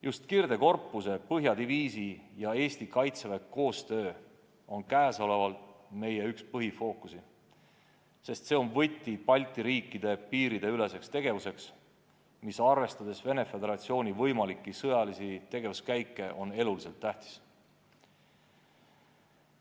Just kirdekorpuse, põhjadiviisi ja Eesti kaitsejõudude koostöö on üks meie põhifookusi, sest see on võti Balti riikide piirideüleseks tegevuseks, mis arvestades Venemaa Föderatsiooni võimalikke sõjalisi tegevuskäike on eluliselt tähtis.